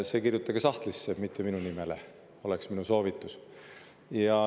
See kirjutage sahtlisse, mitte minu nimele, oleks minu soovitus.